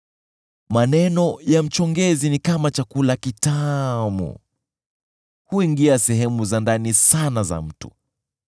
Maneno ya mchongezi ni kama chakula kitamu; huingia sehemu za ndani sana za mtu.